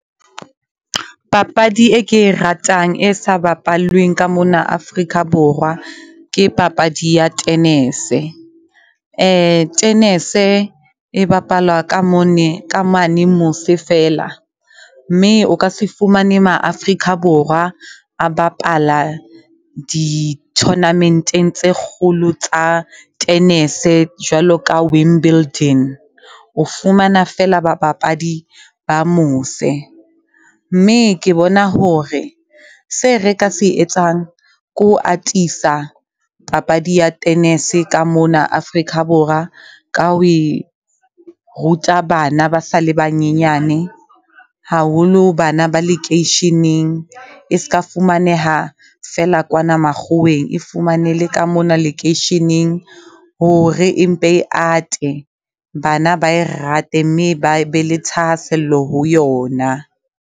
Papadi e ke e ratang, e sa bapallweng ka mona Afrika Borwa ke papadi ya tennis-e. Tennis-e e bapalwa ka mone ka mane mose feela, mme o ka se fumane Ma-Afrika Borwa a bapala di-tournament-eng tse kgolo tsa tennis-e jwalo ka Wimbledon. O fumana feela bapapadi a mose, mme ke bona hore se re ka se etsang ke ho atisa papadi ya tennis-e ka mona Afrika Borwa ka ho e ruta bana ba sa le banyenyane. Haholo bana ba lekeisheneng, e ska fumaneha feela kwana makgoweng e fumane le ka mona lekeisheneng hore e mpe e ate. Bana ba e rate mme ba be le thahasello ho yona.